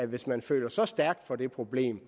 hvis man føler så stærkt for det problem